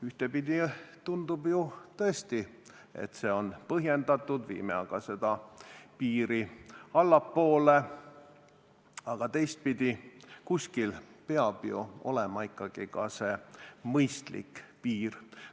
Ühtepidi tundub ju tõesti, et see on põhjendatud, viime aga seda piiri allapoole, aga teistpidi, kuskil peab ju olema ikkagi see mõistlik piir.